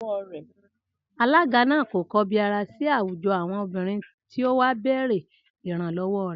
Alága náà kò kobiara síi àwùjọ àwọn obìrin tí o wà bèrè ìrànlọ́wọ́ re